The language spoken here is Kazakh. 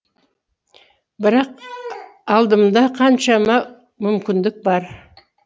бірақ алдымда қаншама мүмкіндік бар